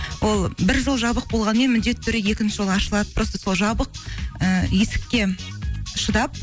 ол бір жол жабық болғанмен міндетті түрде екінші жол ашылады просто сол жабық і есікке шыдап